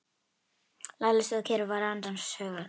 Lalli stóð kyrr og var annars hugar.